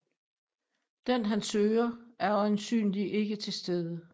Den han søger er øjensynlig ikke til stede